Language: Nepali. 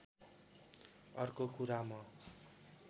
अर्को कुरा म